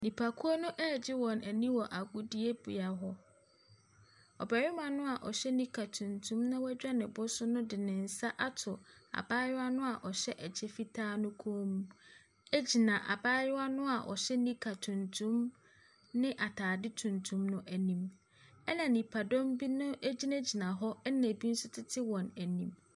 Nnipakuo no regye wɔn ani wɔ agodibea hɔ. Ɔbarima no a ɔhyɛ nika tuntum na wadwa ne bo so no de ne nsa ato abayewa no a ɔhyɛ kyɛ fitaa no kɔn mu gyina abayewa a ɔhyɛ nika tuntum ne atae tuntum no anim, ɛnna nnipadɔm bi na gyinagyina hɔ na ebi nso tete wɔn anim.